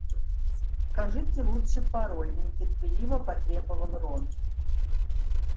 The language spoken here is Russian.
скажите лучше пароль нетерпеливо потребовал рон